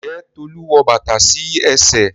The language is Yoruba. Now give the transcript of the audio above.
Njé Tolu wọ bàtà sí ẹsẹ̀?